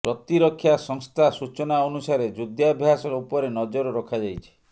ପ୍ରତିରକ୍ଷା ସଂସ୍ଥା ସୂଚନା ଅନୁସାରେ ଯୁଦ୍ଧାଭ୍ୟାସ ଉପରେ ନଜର ରଖାଯାଇଛି